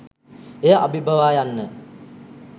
එය අභිබවා යන්න